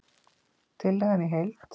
Tillagan í heild